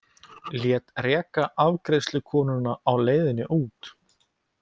Lét reka afgreiðslukonuna á leiðinni út.